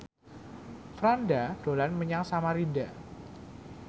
Franda dolan menyang Samarinda